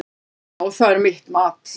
Já, það er mitt mat.